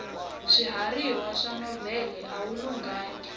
swiharhi swa nhova awi lunghangi